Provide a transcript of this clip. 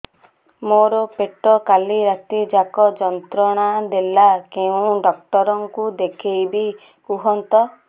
ମୋର ପେଟ କାଲି ରାତି ଯାକ ଯନ୍ତ୍ରଣା ଦେଲା କେଉଁ ଡକ୍ଟର ଙ୍କୁ ଦେଖାଇବି କୁହନ୍ତ